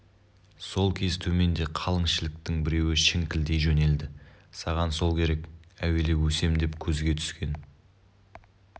сол кез төменде қалың шіліктің біреуі шіңкілдей жөнелді саған сол керек әуелеп өсем деп көзге түскен